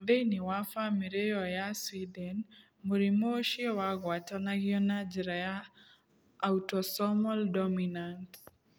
Thĩinĩ wa bamĩrĩ ĩyo ya Sweden, mũrimũ ũcio wagwatanagio na njĩra ya autosomal dominant.